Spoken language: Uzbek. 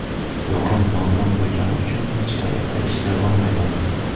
O‘g‘lim nogiron bo‘lgani uchun hech qayerda ishlay olmayman.